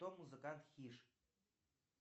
кто музыкант хиш